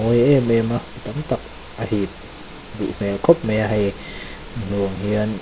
mawi em em a tam tak a hip duh hmel khawp mai a hei hmu ang hian--